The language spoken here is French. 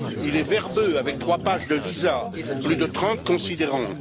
Il est verbeux, avec trois pages de visas et plus de 30 considérants.